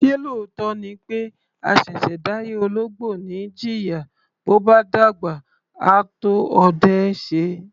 Ṣé lóòótọ́ ni pé àṣẹ̀ṣẹ̀ dáyé ológbò ni í jìyà, bó bá dàgbà, á tó ọdẹ ẹ́ ṣe?